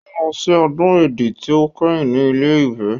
Ó lọ sí ọdún Èdí tí ó kẹ́yìn ní Ilé-Ifẹ̀.